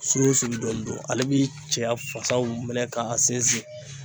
Su o su dɔɔni dɔrɔn, ale bi cɛya fasaw minɛ k'a sinsin.